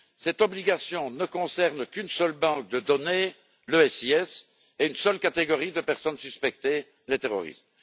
Cette obligation ne concerne qu'une seule banque de données, le SIS, et une seule catégorie de personnes suspectées, les terroristes.